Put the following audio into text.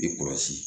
I kɔrɔsi